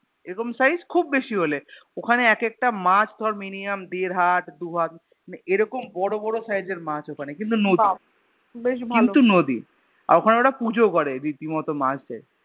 এরকম Size খুব বেশি হলে ওখানে এক একটা মাছ ধর Minimum দের হাত দু হাত মানে এরকম বড় বড় Size এর মাছ ওখানে কিন্তু নদী কিন্তু নদী আর ওখানে ওরা পুজোও করে রীতিমত মাছদের